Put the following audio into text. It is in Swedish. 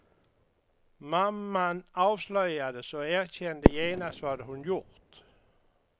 Mamman avslöjades och erkände genast vad hon gjort.